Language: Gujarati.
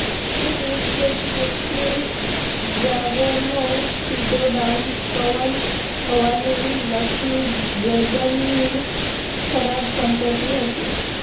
તે દિવસે કેકીલ બ્રાવોનો સીધો ડાઉન પવન હોવાની લકી ડ્રેગનની ખરાબ સંપત્તિ હતી